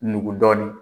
Nugu dɔɔnin